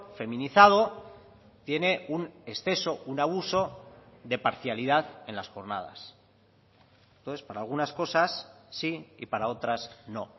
feminizado tiene un exceso un abuso de parcialidad en las jornadas entonces para algunas cosas sí y para otras no